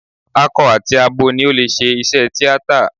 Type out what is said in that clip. Akọ àti abo ni ó lè ṣe iṣẹ́ tíátà.